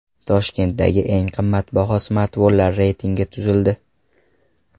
Toshkentdagi eng qimmatbaho smartfonlar reytingi tuzildi.